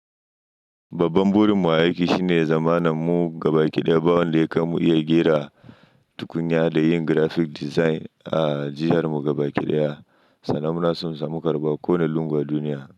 Babban burin mu a aiki shine zamanin mu gabaki ɗaya ba wanda ya kai mu iya ƙira tukunya da yin graphic design a jihar mu gabaki ɗaya, sannan muna son samu karɓuwa kowani lungu a duniya.